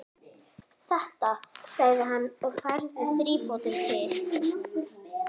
Þetta, sagði hann og færði þrífótinn til.